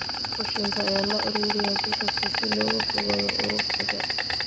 Qashinka ayaa la ururiyaa bil kasta si looga fogaado urursiga.